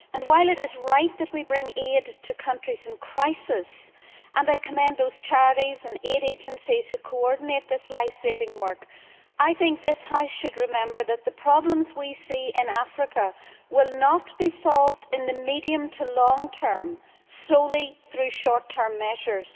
While it is right that we bring aid to countries in crisis and I commend those charities and aid agencies that coordinate this life saving work I think this House should remember that the problems we see in Africa will not be solved in the medium to long term solely through short term measures.